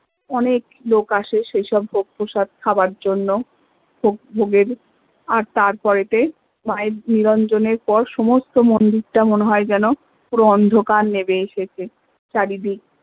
অনেক লোক আসে সে সব ভোগপ্রসাদ খাবার জন্য ভোগের আর তারপরে তে মা এর নিরঞ্জনের পর সমস্ত মন্দির টা মনে হয় যেন পুরো অন্ধকার নেমে এসেছে চারিদিক